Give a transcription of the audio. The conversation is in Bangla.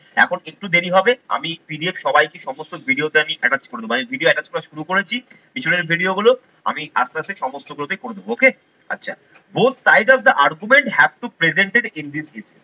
এখন একটু দেরি হবে, আমি PDF সবাইকে সমস্ত ভিডিওতে আমি attach করে দেব, আমি video attach করা শুরু করেছি পিছনের video গুলো আমি আস্তে আস্তে সমস্ত group এ করে দেবো okay আচ্ছা both side of the argument have to presented in this video